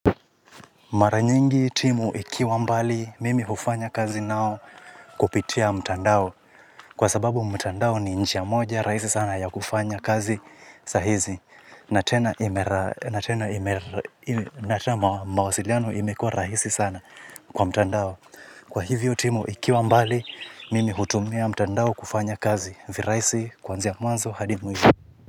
Mara niyingi timu ikiwa mbali mimi hufanya kazi nao kupitia mtandao kwa sababu mtandao ni njia moja rahisi sana ya kufanya kazi sahizi na tena mawasiliano imekuwa rahisi sana kwa mtandao kwahivyo timu ikiwa mbali mimi hutumia mtandao kufanya kazi virahisi kuanzia kwanzo hadi mwisho.